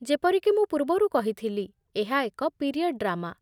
ଯେପରି କି ମୁଁ ପୂର୍ବରୁ କହିଥିଲି, ଏହା ଏକ ପିରିୟଡ୍ ଡ୍ରାମା।